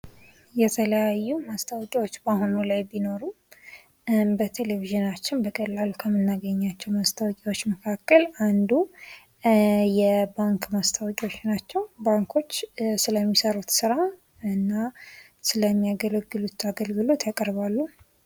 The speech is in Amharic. የተለያዩ ማስታወቂያዎች በአሁኑ ላይ ቢኖሩ በቴሌቪዥናችን በቀላሉ ከምናገኛቸው ማስታወቂያዎች መካከል አንዱ የባንክ ማስታወቂያዎች ናቸው ባንኮች ስለሚሰሩት ስራ እና ስለሚያገለግሉት አገልግሎት ያቀርባሉ።